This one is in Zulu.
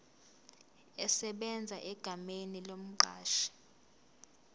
esebenza egameni lomqashi